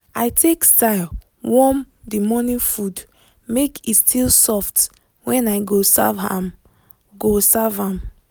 i take style warm the morning food make e still soft when i go serve am." go serve am."